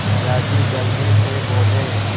दादाजी जल्दी से बोले